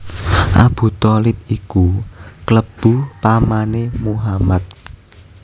Abu Tholib iku klebu pamané Muhammad